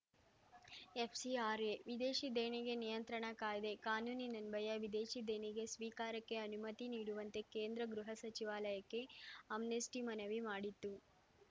FCRA ವಿದೇಶಿ ದೇಣಿಗೆ ನಿಯಂತ್ರಣ ಕಾಯ್ದೆ ಕಾನೂನಿನ್ವಯ ವಿದೇಶಿ ದೇಣಿಗೆ ಸ್ವೀಕಾರಕ್ಕೆ ಅನುಮತಿ ನೀಡುವಂತೆ ಕೇಂದ್ರ ಗೃಹ ಸಚಿವಾಲಯಕ್ಕೆ ಆಮ್ನೆಸ್ಟಿಮನವಿ ಮಾಡಿತ್ತು